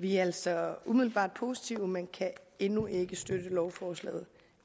vi er altså umiddelbart positive men kan endnu ikke støtte lovforslaget